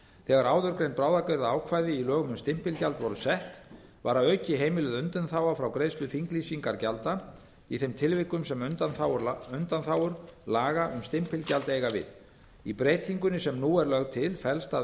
þegar áðurgreind í lögum um stimpilgjald voru sett var að auki heimiluð undanþága frá greiðslu þinglýsingargjalda í þeim tilvikum sem undanþágur laga um stimpilgjald eiga við í breytingunni sem nú er lögð til felst að